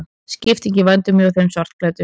Skipting í vændum hjá þeim svartklæddu.